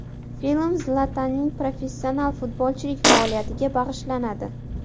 Film Zlatanning professional futbolchilik faoliyatiga bag‘ishlanadi.